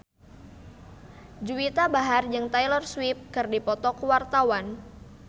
Juwita Bahar jeung Taylor Swift keur dipoto ku wartawan